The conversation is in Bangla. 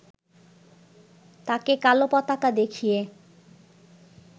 তাকে কালো পতাকা দেখিয়ে